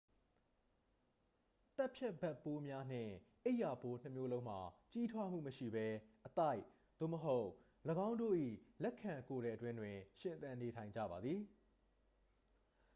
သတ်ဖြတ်ဘက်ပိုးများနှင့် အိပ်ရာပိုးနှစ်မျိုးလုံးမှာ ကြီးထွားမှုမရှိဘဲ အသိုက် သို့မဟုတ် ၎င်းတို့၏ လက်ခံကိုယ်ထည်အတွင်းတွင် ရှင်သန်နေထိုင်ကြပါသည်